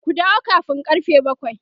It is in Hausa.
ku dawo kamin karfe bakwai!